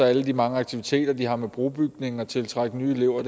alle de mange aktiviteter de har med brobygning og med at tiltrække nye elever